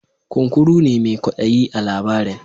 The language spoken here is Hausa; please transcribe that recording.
Kunkuru ne mai kwaɗayi a labarin.